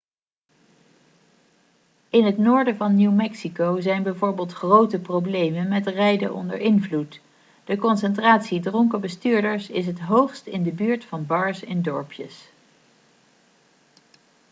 in het noorden van new mexico zijn bijvoorbeeld grote problemen met rijden onder invloed de concentratie dronken bestuurders is het hoogst in de buurt van bars in dorpjes